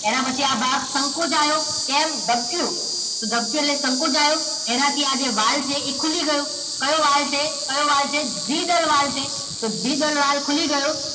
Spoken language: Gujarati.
એના પછી આ ભાગ સંકોચાયો તેમ ધબક્યું તો ધબક્યું એટલે સંકોચ આયો એનાથી આ જે વાલ છે એ ખુલી ગયો કયો વાલ છે કયો વાલ છે દ્વિદલ વાલ છે તો દ્વિદલ વાલ ખુલી ગયો